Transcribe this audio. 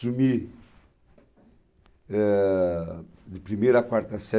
Assumi, ah, de primeira a quarta série.